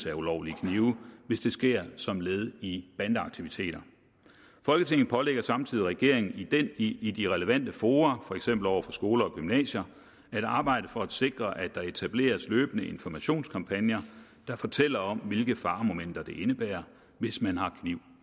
af ulovlige knive hvis det sker som led i bandeaktiviteter folketinget pålægger samtidig regeringen i i de relevante fora for eksempel over for skoler og gymnasier at arbejde for at sikre at der etableres løbende informationskampagner der fortæller om hvilke faremomenter det indebærer hvis man har kniv